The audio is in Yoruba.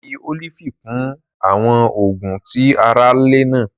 A fi olifi kun awọn oogun ti a ra lana.